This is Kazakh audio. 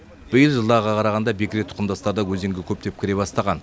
биыл жылдарға қарағанда бекіре тұқымдастар да өзенге көптеп кіре бастаған